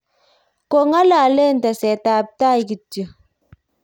kong'ololen tesetab tai kityo